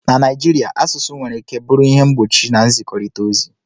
na Naijiria, asụsụ nwere ike bụrụ ihe mgbochi na nzikọrịta ozi